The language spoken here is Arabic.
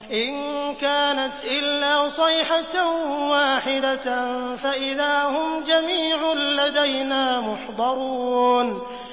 إِن كَانَتْ إِلَّا صَيْحَةً وَاحِدَةً فَإِذَا هُمْ جَمِيعٌ لَّدَيْنَا مُحْضَرُونَ